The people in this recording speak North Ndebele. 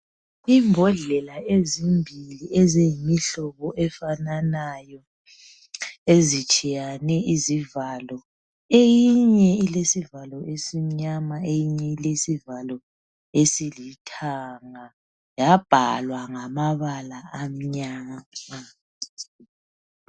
Imbodlela ezimbili eziyimihlobo efananayo ezitshiyane izivalo. Eyinye ilesivalo esimnyama eyinye ilesivalo esilithanga, yabhalwa ngamabala amnyama.